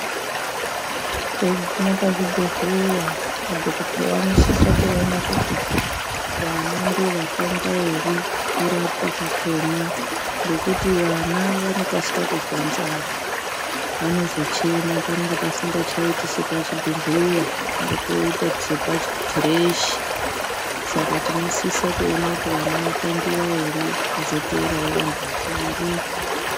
Teiguma pazvibhedhleya madhogodheya anosisa kuona kuti vana ndovatangwa ere kurapwa kwako. Ngekuti vana vanokasika kuzwa nzara vanozochema panenge pasingachaiti sepachibhedhleya panonge poite sepa kireshi. Saka tinosisa kuona kuti vana vatangiva ere kozoteeravo vantu vakuru.